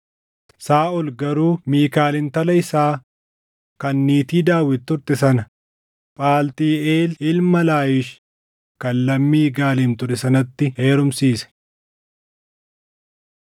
Saaʼol garuu Miikaal intala isaa kan niitii Daawit turte sana Phaltiiʼeel ilma Laayish kan lammii Galiim ture sanatti heerumsiise.